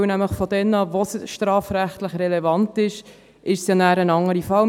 Denn ab dort, wo es strafrechtlich relevant ist, ist es nachher nämlich ein anderer Fall.